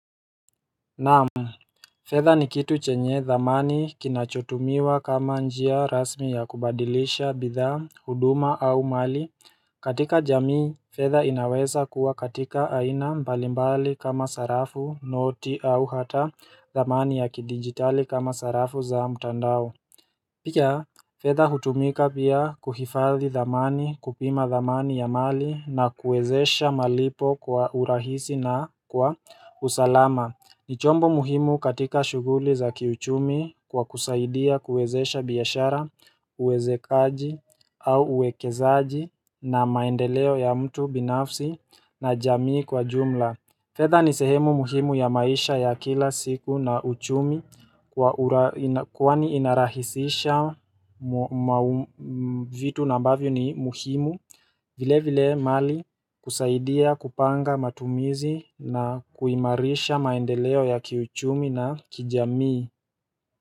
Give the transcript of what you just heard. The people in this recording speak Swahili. Naam, fedha ni kitu chenye dhamani kinachotumiwa kama njia rasmi ya kubadilisha, bidhaa, huduma au mali. Katika jamii, fedha inaweza kuwa katika aina mbalimbali kama sarafu, noti au hata dhamani ya kidijitali kama sarafu za mtandao. Pia, fedha hutumika pia kuhifadhi dhamani, kupima dhamani ya mali na kuwezesha malipo kwa urahisi na kwa usalama ni chombo muhimu katika shughuli za kiuchumi kwa kusaidia kuwezesha biashara, uwezekaji au uwekezaji na maendeleo ya mtu binafsi na jamii kwa jumla fedha ni sehemu muhimu ya maisha ya kila siku na uchumi kwani inarahisisha vitu ambavyo ni muhimu vile vile mali kusaidia kupanga matumizi na kuimarisha maendeleo ya kiuchumi na kijamii.